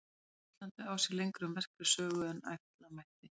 Þjóðfræði á Íslandi á sér lengri og merkari sögu en ætla mætti.